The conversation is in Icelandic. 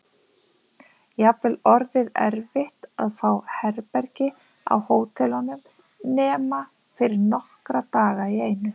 Jafnvel orðið erfitt að fá herbergi á hótelunum nema fyrir nokkra daga í einu.